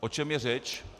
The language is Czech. O čem je řeč?